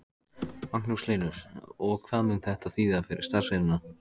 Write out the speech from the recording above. Magnús Hlynur: Og hvað mun þetta þýða fyrir starfsemina?